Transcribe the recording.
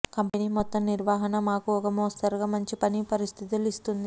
company మొత్తం నిర్వహణ మాకు ఒక మోస్తరుగా మంచి పని పరిస్థితులు ఇస్తుంది